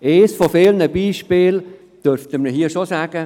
Eines von vielen Beispielen dürfen wir hier schon nennen: